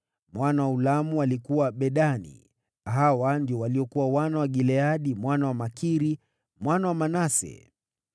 Mwana wa Ulamu alikuwa: Bedani. Hawa ndio waliokuwa wana wa Gileadi mwana wa Makiri, mwana wa Manase.